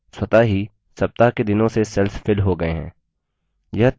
स्वतः ही सप्ताह के दिनों से cells filled हो गए हैं